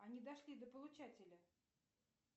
они дошли до получателя